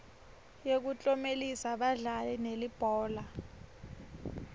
yekuklomelisa badlali belibhola